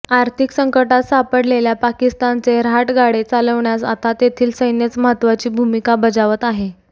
आर्थिक संकटात सापडलेल्या पाकिस्तानचे रहाटगाडे चालविण्यास आता तेथील सैन्यच महत्त्वाची भूमिका बजावत आहे